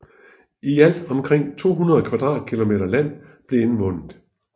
I alt omkring 200 km2 land blev indvundet